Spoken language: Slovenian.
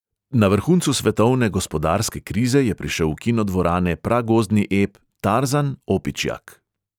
Na vrhuncu svetovne gospodarske krize je prišel v kinodvorane pragozdni ep tarzan, opičjak.